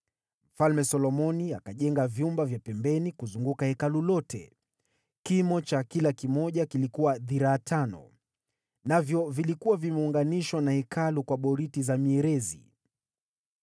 Mfalme Solomoni akajenga vyumba vya pembeni kuzunguka Hekalu lote. Kimo cha kila kimoja kilikuwa dhiraa tano. Navyo vilikuwa vimeunganishwa na Hekalu kwa boriti za mierezi.